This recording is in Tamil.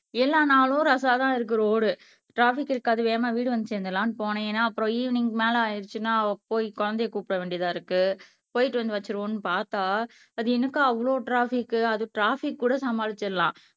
எல்லா நாளும் ரசாதா இருக்கு ரோடு ட்ராபிக் இருக்காது வேகமா வீடு வந்து சேர்ந்திடலாம்ன்னு போனேன் ஏன்னா அப்புறம் ஈவினிங்க்கு மேல ஆயிடுச்சுன்னா போய் குழந்தையை கூப்பிட வேண்டியதா இருக்கு போயிட்டு வந்து வச்சிருவோம்ன்னு பார்த்தா அது என்னக்கா அவ்ளோ ட்ராபிக் அது ட்ராபிக் கூட சமாளிச்சிடலாம்